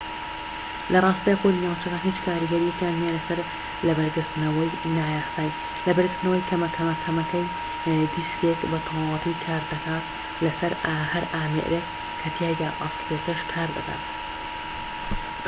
لە ڕاستیدا کۆدی ناوچەکان هیچ کاریگەریەکیان نیە لەسەر لەبەرگرتنەوەی نایاسایی لەبەرگرتنەوەی کەمەکەمەی دیسکێك بە تەواوەتی کار دەکات لەسەر هەر ئامێرێك کە تیایدا ئەسڵیەکەش کار بکات